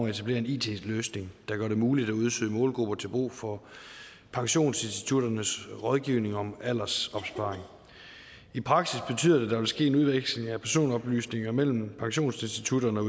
at etablere en it løsning der gør det muligt at udsøge målgrupper til brug for pensionsinstitutternes rådgivning om aldersopsparing i praksis betyder det at der vil ske en udveksling af personoplysninger mellem pensionsinstitutterne og